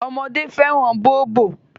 Ọmọdé fẹ́ràn bóbò.